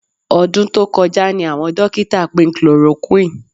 Ọdún tó kọjá ni àwọn dókítà pín chloroquine